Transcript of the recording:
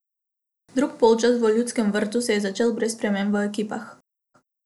Drugi polčas v Ljudskem vrtu se je začel brez sprememb v ekipah.